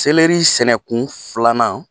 sɛnɛkun filanan